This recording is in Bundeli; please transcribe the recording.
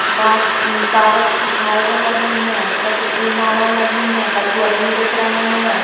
कांच कागज की झालरे लगी हैं। कछु फूल मालाएं लगी हैं। कछु आदमी दिख रहे हैं।